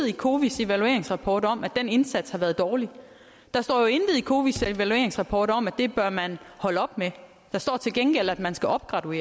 i cowis evalueringsrapport om at den indsats har været dårlig der står jo intet i cowis evalueringsrapport om at det bør man holde op med der står til gengæld at man skal opgraduere